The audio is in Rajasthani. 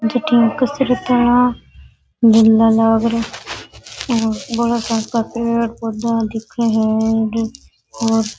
भटीन कुरसी रखा है झंडा लाग रा और पेड़ पौधा दिखे है और --